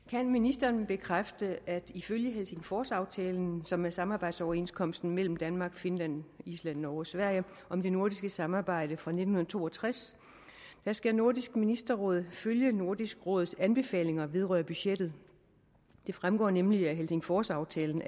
kan ministeren bekræfte at ifølge helsingforsaftalen som er samarbejdsoverenskomsten mellem danmark finland island norge og sverige om det nordiske samarbejde fra nitten to og tres skal nordisk ministerråd følge nordisk råds anbefalinger vedrørende budgettet det fremgår nemlig af helsingforsaftalen